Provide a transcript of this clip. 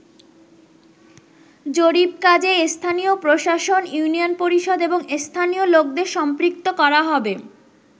জরিপ কাজে স্থানীয় প্রশাসন, ইউনিয়ন পরিষদ এবং স্থানীয় লোকদের সম্পৃক্ত করা হবে।